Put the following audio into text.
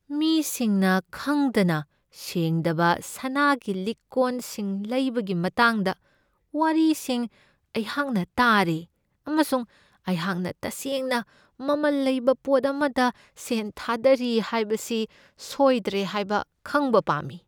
ꯃꯤꯁꯤꯡꯅ ꯈꯪꯗꯅ ꯁꯦꯡꯗꯕ ꯁꯅꯥꯒꯤ ꯂꯤꯛ ꯀꯣꯟꯁꯤꯡ ꯂꯩꯕꯒꯤ ꯃꯇꯥꯡꯗ ꯋꯥꯔꯤꯁꯤꯡ ꯑꯩꯍꯥꯛꯅ ꯇꯥꯔꯦ, ꯑꯃꯁꯨꯡ ꯑꯩꯍꯥꯛꯅ ꯇꯁꯦꯡꯅ ꯃꯃꯜ ꯂꯩꯕ ꯄꯣꯠ ꯑꯃꯗ ꯁꯦꯟ ꯊꯥꯗꯔꯤ ꯍꯥꯏꯕꯁꯤ ꯁꯣꯏꯗ꯭ꯔꯦ ꯍꯥꯏꯕ ꯈꯪꯕ ꯄꯥꯝꯃꯤ꯫